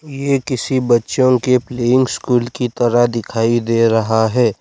ये किसी बच्चों के प्लेइंग स्कूल की तरह दिखाई दे रहा है।